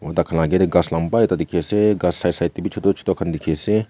dakhan la ake te ghaas lamba ekta dekhi ase ghaas side side teybi choto choto khan dekhi ase.